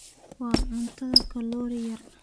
Waa cunto kaloori yar.